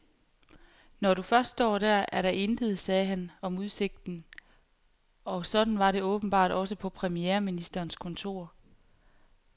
Når du først står der, er der intet, sagde han om udsigten, og sådan var det åbenbart også på premierministerens kontor.